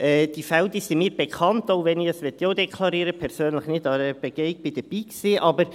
Diese Fälle sind mir bekannt, auch wenn ich – das möchte ich auch deklarieren – persönlich nicht bei der Begehung dabei war.